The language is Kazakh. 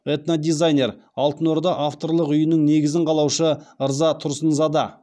этнодизайнер алтын орда авторлық үйінің негізін қалаушы ырза тұрсынзада